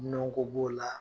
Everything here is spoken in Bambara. Dunɔko b'o la.